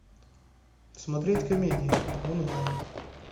смотреть комедии онлайн